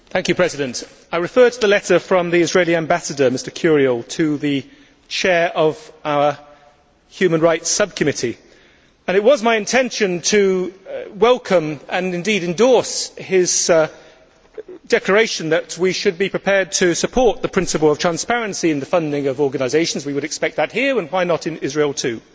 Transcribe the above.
Mr President, I refer to the letter from the Israeli Ambassador, Mr Curiel, to the chair of our Human Rights Subcommittee. It was my intention to welcome, and indeed endorse, his declaration that we should be prepared to support the principle of transparency in the funding of organisations. We would expect that here, and why not in Israel too.